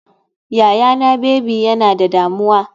Yayana baby yana da damuwa.